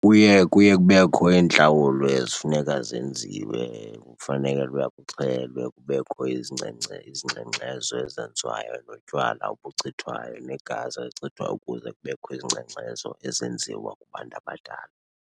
Kuye, kuye kubekho iintlawulo ezifuneka zenziwe. Kufanele uba kuxhelwe, kubekho izingxengxezo ezenziwayo notywala obuchithwayo, negazi elichithwayo ukuze kubekho izingxengxezo ezenziwa kubantu abadala.